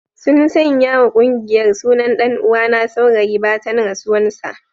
Sun sanya wa kungiyar sunan dan uwana Saurayi batan rasuwan sa.